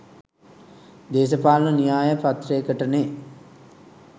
දේශපාලන න්‍යාය පත්‍රයකටනේ.